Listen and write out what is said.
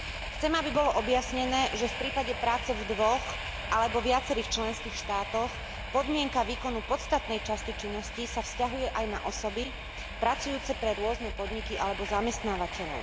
Chcem, aby bolo objasnené, že v prípade práce v dvoch lebo viacerých členských štátoch podmienka výkonu podstatnej časti činnosti sa vzťahuje aj na osoby pracujúce pre rôzne podniky alebo zamestnávateľov.